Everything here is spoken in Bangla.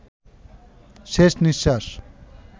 শেষ নিঃশ্বাস